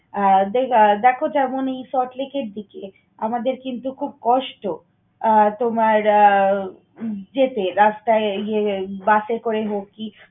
আহ দেখো যেমন, এই solt lake এর দিকে আমাদের কিন্তু খুব কষ্ট। আহ তোমার আহ যেতে রাস্তায় ইয়ে বাসে করে হোক কি